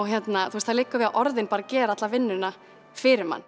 það liggur bara við að orðin geri alla vinnuna fyrir mann